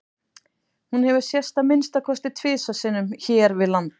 Hún hefur sést að minnsta kosti tvisvar sinnum hér við land.